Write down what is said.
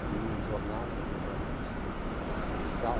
Na minha jornal, outra irmã, assistente social,